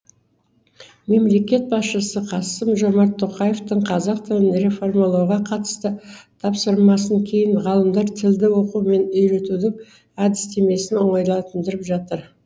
мемлекет басшысы қасым жомарт тоқаевтың қазақ тілін реформалауға қатысты тапсырмасын кейін ғалымдар тілді оқыту мен үйретудің әдістемесін оңайландырып жатыр